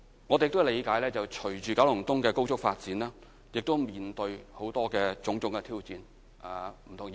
我們理解，隨着九龍東的高速發展，我們亦將面對種種挑戰。